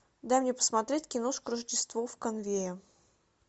дай мне посмотреть киношку рождество в конуэе